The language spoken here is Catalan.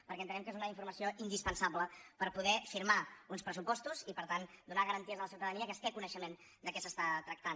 perquè entenem que és una informació indispensable per poder firmar uns pressupostos i per tant donar garanties a la ciutadania que es té coneixement de què s’està tractant